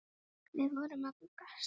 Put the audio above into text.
Við vorum að bugast.